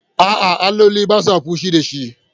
A'a, alloli ba sa fushi da shi.